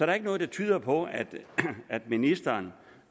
er ikke noget der tyder på at at ministeren